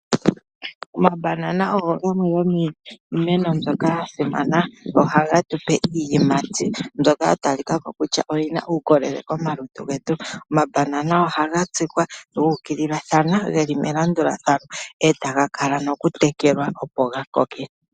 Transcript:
Omabanana ogo gamwe gomiimeno mbyoka ya simana. Ohage tu pe iiyimati mbyoka ya talika ko kutya oyi na uukolele momalutu getu. Omabanana ohaga tsikwa gu ukilila ge li melandulathano e taga kala nokutekelwa, opo ga koke.